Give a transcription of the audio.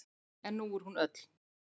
En nú er hún öll.